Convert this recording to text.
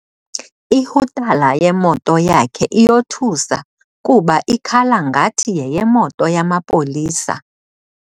Ihutala yemoto yakhe iyothusa kuba ikhala ngathi yeyemoto yamapolisa.